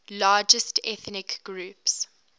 largest ethnic groups